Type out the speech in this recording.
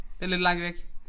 Det lidt langt væk